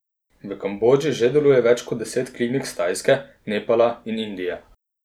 V Kambodži že deluje več kot deset klinik s Tajske, Nepala in Indije.